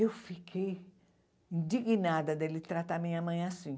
Eu fiquei indignada dele tratar a minha mãe assim.